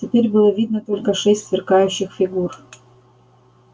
теперь было видно только шесть сверкающих фигур